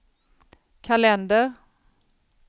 kalender